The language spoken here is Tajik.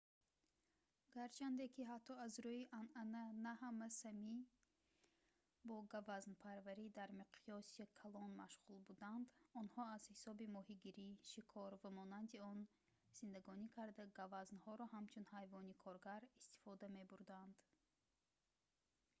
гарчанде ки ҳатто аз рӯи анъана на ҳама сами бо гавазнпарварӣ дар миқёси калон машғул буданд онҳо аз ҳисоби моҳигирӣ шикор ва монанди он зиндагонӣ карда гавазнҳоро ҳамчун ҳайвони коргар истифода мебурданд